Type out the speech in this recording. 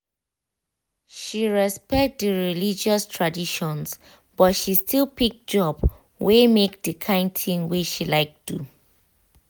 she respect di religious traditions but she still pick job wey mek di kind thing wey she like do.